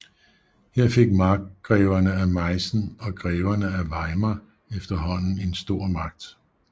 Her fik markgreverne af Meissen og greverne af Weimar efterhånden en stor magt